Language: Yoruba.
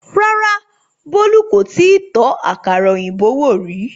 rárá, bolu kò tíì tó àkàrà òyìnbó wò rí